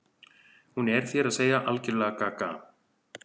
Hún er, þér að segja, algerlega gaga.